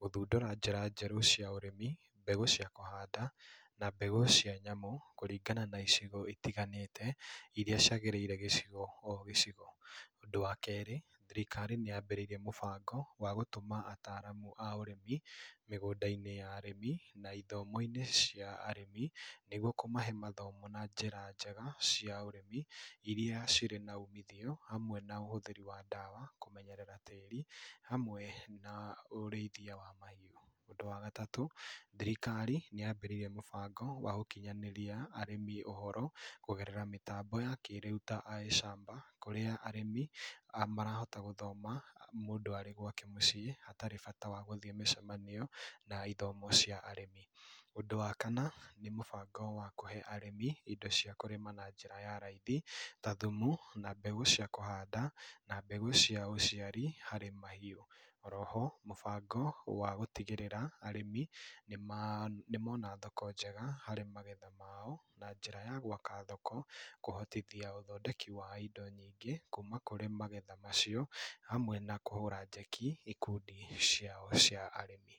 gũthundũra njĩra njerũ cia ũrĩmi, mbegũ cia kũhanda, na mbegũ cia nyamũ kũringana, na icigo itiganĩte iria ciagĩrĩire gĩcigo ogĩcigo. Ũndũ wa kerĩ, thirikari nĩ Yambĩrĩirie mũbango wa gũtũma ataramu aũrĩmi mĩgũndainĩ ya arĩmi na ithomoinĩ cia arĩmi nĩguo kũmahe mathomo na njĩra njega cia ũrĩmi iria cirĩ na ũmithio hamwe na ũhũthĩri wa ndawa kũmenyerera tĩri, hamwe na ũrĩthia wa mahiũ. Ũndũ wa gatatũ thirikari nĩambĩrĩrie mũbango wa ũkinyanĩria arĩmi ũhoro kũgerera mĩtambũ ya kĩrĩu ta I shamba kũrĩa arĩmi marahota gũthoma mũndũ arĩ gwake mũciĩ atarĩ bata wa gũthĩ mĩcemanio na ithomo cia arĩmi. Ũndũ wa kanna nĩmũbando wa kũhe arĩmi indo cia kũrĩma na njĩra ya raithi ta thumu na mbegũ cia kũhanda na mbegũ cia ũciari harĩ mahiũ. Oroho mũbango wa gũtigĩrĩra arĩmi nĩmona thoko njega harĩ magetha mao na njĩra ya gũaka thoko kũhotithia ũthondeki wa indo nyingĩ, kuma kũrĩ magetha macio amwe na kũhũra njeki ikundi ciao cia arĩmi.